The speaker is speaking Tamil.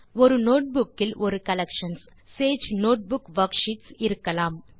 ஒரு நோட்புக் இல் ஒரு கலெக்ஷன் சேஜ் நோட்புக் வர்க்ஷீட்ஸ் இருக்கலாம்